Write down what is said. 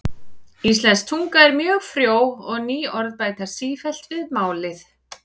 Íslensk tunga er mjög frjó og ný orð bætast sífellt við málið.